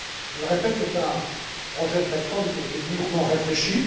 Je le répète, c'est un projet de réforme qui a été mûrement réfléchi.